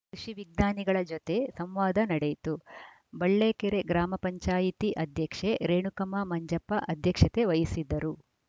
ಕೃಷಿ ವಿಜ್ಞಾನಿಗಳ ಜೊತೆ ಸಂವಾದ ನಡೆಯಿತು ಬಳ್ಳೇಕೆರೆ ಗ್ರಾಮ ಪಂಚಾಯತ್ ಅಧ್ಯಕ್ಷೆ ರೇಣುಕಮ್ಮ ಮಂಜಪ್ಪ ಅಧ್ಯಕ್ಷತೆ ವಹಿಸಿದ್ದರು